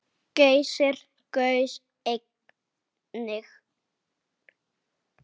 Geysir gaus einnig.